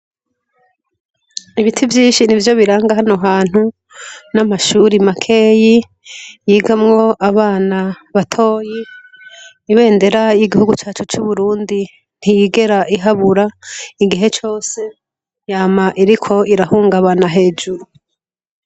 Ibiti vyinshi ni vyo biranga hano hantu n'amashuri makeyi yigamwo abana batoyi ibendera y'igihugu cacu c'uburundi ntiyigera ihabura igihe cose yama iriko irahungabana hejuru.